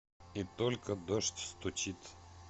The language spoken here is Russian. и только дождь стучит